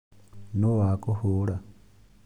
Nũũ wakũhũra